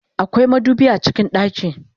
akwai madubi a cikin ɗaki